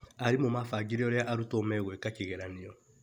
Arimũ mabangire ũrĩa arutwo megwĩka kĩgeranio.